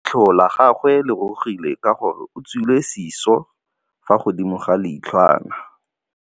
Leitlhô la gagwe le rurugile ka gore o tswile sisô fa godimo ga leitlhwana.